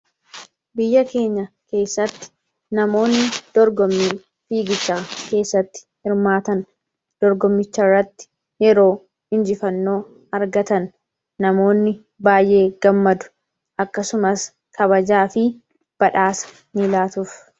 biyya keenya keessatti namoonni dorgommii fiigichaa keessatti hirmaatan dorgommichairratti yeroo hinjifannoo argatan namoonni baay'ee gammadu akkasumas kabajaa fi badhaasa ni ilaatuuf